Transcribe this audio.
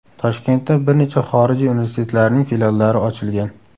Toshkentda bir necha xorijiy universitetlarining filiallari ochilgan.